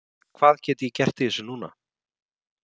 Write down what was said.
Hvað get ég gert í þessu núna?